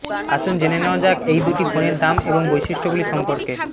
আসুন জেনে নেওয়া যাক এই দুটি ফোনের দাম এবং বৈশিষ্ট্যগুলি সম্পর্কে